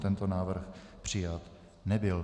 Tento návrh přijat nebyl.